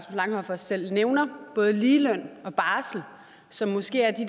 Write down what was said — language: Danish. langhoff også selv nævner både ligeløn og barsel som måske er de